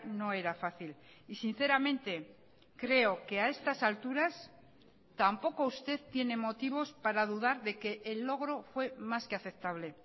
no era fácil y sinceramente creo que a estas alturas tampoco usted tiene motivos para dudar de que el logro fue más que aceptable